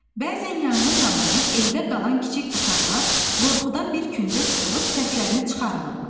Bəzən yanğın zamanı evdə qalan kiçik uşaqlar qorxudan bir küncə sıxılıb səslərini çıxarmırlar.